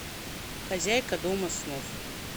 хозяйка дома снов